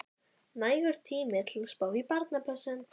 Nægur tími til að spá í barnapössun.